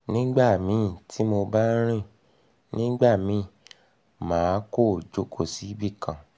nigbamii ti mo ba rin ni nigbamii ma ko joko sibikan